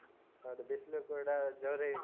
ಹೌದು. ಬಿಸ್ಲು ಕೂಡ ಜೋರೇ .